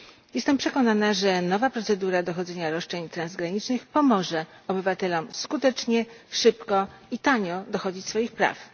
Jestem przekonana, że nowa procedura dochodzenia roszczeń transgranicznych pomoże obywatelom skutecznie, szybko i tanio dochodzić swoich praw.